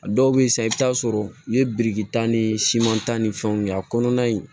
A dɔw bɛ yen sa i bɛ taa sɔrɔ u ye biriki ta ni siman ta ni fɛnw ye a kɔnɔna in